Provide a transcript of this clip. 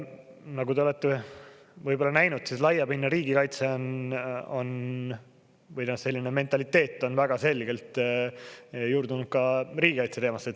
Nagu te olete võib-olla näinud, siis laiapindne riigikaitse on … või noh, selline mentaliteet on väga selgelt juurdunud ka riigikaitseteemasse.